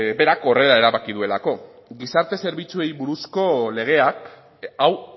berak horrela erabaki duelako gizarte zerbitzuei buruzko legeak hau